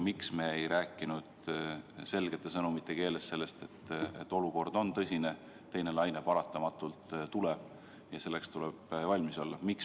Miks me ei rääkinud selgete sõnumite keeles sellest, et olukord on tõsine, teine laine paratamatult tuleb ja selleks tuleb valmis olla?